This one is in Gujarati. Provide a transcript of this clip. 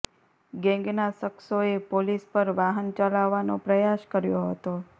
ગેંગના શખ્સોએ પોલીસ પર વાહન ચલાવવાનો પ્રયાસ કર્યો હતો